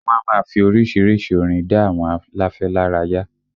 Wọ́n á máa fi orísìírísìí orin dá àwọn aláfẹ́ lára yá